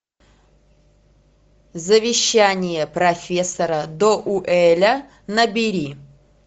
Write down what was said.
завещание профессора доуэля набери